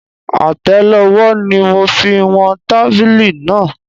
Atẹlowó ni mo fi wọn tábìlì náà.